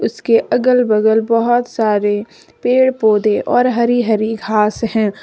इसके अगल बगल बहुत सारे पेड़ पौधे और हरी हरी घास है।